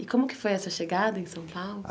E como que é que foi essa chegada em São Paulo?